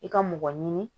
I ka mɔgɔ ɲini